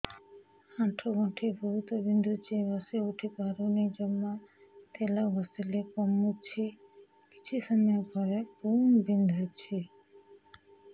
ଆଣ୍ଠୁଗଣ୍ଠି ବହୁତ ବିନ୍ଧୁଛି ବସିଉଠି ପାରୁନି ଜମା ତେଲ ଘଷିଲେ କମୁଛି କିଛି ସମୟ ପରେ ପୁଣି ବିନ୍ଧୁଛି